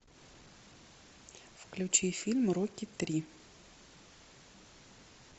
включи фильм рокки три